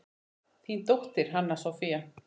Þín dóttir, Hanna Soffía.